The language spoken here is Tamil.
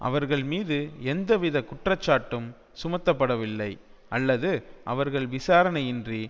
அவர்கள் மீது எந்தவித குற்றச்சாட்டும் சுமத்தப்படவில்லை அல்லது அவர்கள் விசாரணையின்றி